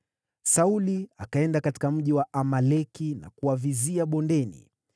Sauli akaenda katika mji wa Amaleki na kuwavizia bondeni.